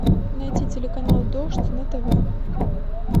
найти телеканал дождь на тв